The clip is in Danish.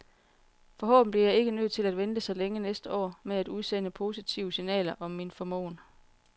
Forhåbentlig bliver jeg ikke nødt til at vente så længe næste år med at udsende positive siganler om min formåen.